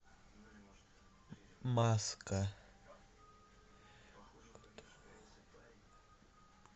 маска